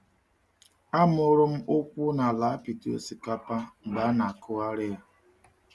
A mụrụ m ụkwụ n’ala apịtị osikapa mgbe a na-akụgharị ya.